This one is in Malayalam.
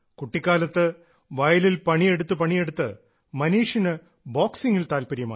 കുട്ടിക്കാലത്ത് വയലിൽ പണിയെടുത്ത് പണിയെടുത്ത് മനീഷിന് ബോക്സിംഗിൽ താല്പര്യമായി